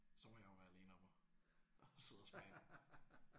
Så må jeg jo være alene om at at sidde og smage